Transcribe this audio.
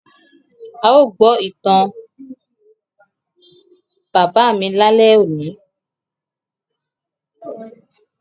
À yóò gbọ ìtan bábà mi lale óni.